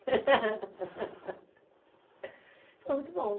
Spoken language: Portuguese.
Foi muito bom.